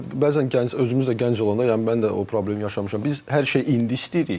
Bəzən gənc özümüz də gənc olanda, yəni mən də o problemi yaşamışam, biz hər şeyi indi istəyirik.